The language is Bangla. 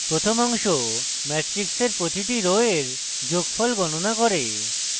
প্রথম অংশ matrix প্রতিটি row এর যোগফল গনণা করে